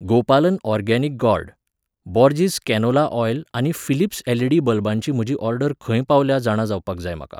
गोपालन organic gourd, Borges canola oil आनी Philips LED. बल्बांची म्हजी ऑर्डर खंय पावल्या जाणा जावपाक जाय म्हाका.